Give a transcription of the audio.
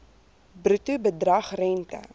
bruto bedrag rente